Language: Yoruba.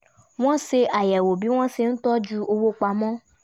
wọ́n ṣe àyẹ̀wò bí wọ́n ṣe ń tọ́jú owó pamọ́